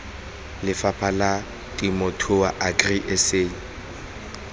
lefapha la temothuo agri sa